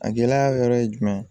A gɛlɛya wɛrɛ ye jumɛn ye